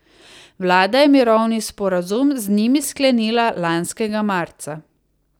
Vlada je mirovni sporazum z njimi sklenila lanskega marca.